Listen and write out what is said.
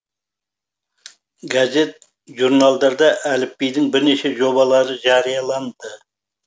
гәзет журналдарда әліпбидің бірнеше жобалары жарияланды